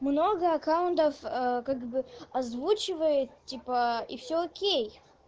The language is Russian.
много аккаунтов как бы озвучивает типа и все окей